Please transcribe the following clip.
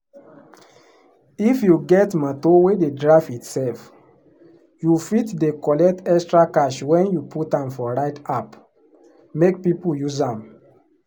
if you get motor wey dey drive itself you fit dey collect extra cash when you put am for ride app make people use am.